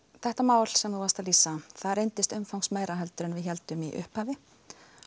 þetta mál sem þú varst að lýsa það reyndist umfangsmeira en við héldum í upphafi